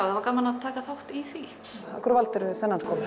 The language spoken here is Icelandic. það var gaman að taka þátt í því af hverju valdirðu þennan skóla